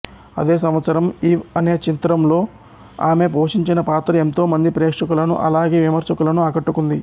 అదే సంవత్సరం ఈవ్ అనే చిత్రంలో ఆమె పోషించిన పాత్ర ఎంతో మంది ప్రేక్షకులను అలాగే విమర్శకులను ఆకట్టుకుంది